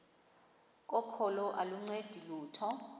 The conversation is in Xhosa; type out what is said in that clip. kokholo aluncedi lutho